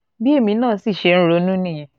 bí èmi náà sì ṣe ń ronú nìyẹn